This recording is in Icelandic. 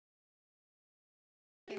Áttu þær að fara með þeim?